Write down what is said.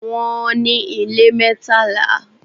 Wọ́n ní ilé mẹ́tàlá.